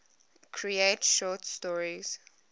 create short stories